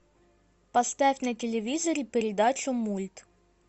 поставь на телевизоре передачу мульт